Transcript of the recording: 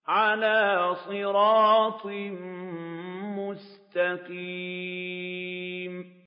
عَلَىٰ صِرَاطٍ مُّسْتَقِيمٍ